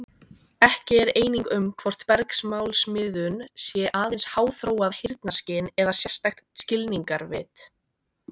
Ekki er eining um hvort bergmálsmiðun sé aðeins háþróað heyrnarskyn eða sérstakt skilningarvit.